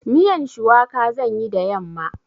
Miyan shuwaka zan yi da yamma.